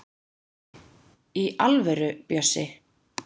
Í alvöru, Bjössi.